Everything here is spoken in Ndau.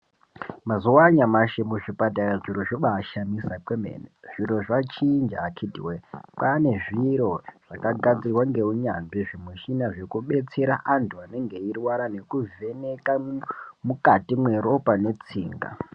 Mazuva anyamashi muzvipatara, zviro zvobaa shamisa kwemene, zviro zvachinja akiti woyee kwaane zviro zvakagadzirwa ngounyanzvi zvimushina zvinenge zveibetsera antu anenge eirwara nekuvheneka mwukati mweropa netsinga.